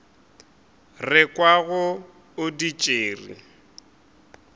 re kwago o di tšere